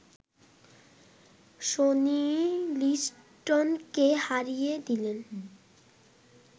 Sony লিস্টনকে হারিয়ে দিলেন